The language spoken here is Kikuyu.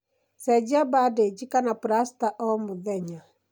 Cenjia bandeji kana plasta o mũthenya.